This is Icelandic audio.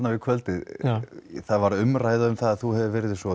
við kvöldið það varð umræða um það að þú hefðir verið svo